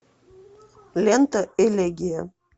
лента элегия